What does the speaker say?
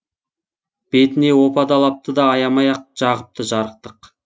бетіне опа далапты да аямай ақ жағыпты жарықтық